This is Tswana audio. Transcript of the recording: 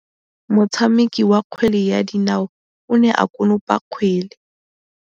Motshameki wa kgwele ya dinaô o ne a konopa kgwele.